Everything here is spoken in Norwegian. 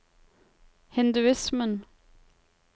hinduismen